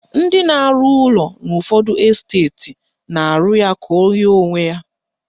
Ndị na-arụ ụlọ n'ụfọdụ esteti na-arụ ya ka o yie onwe ha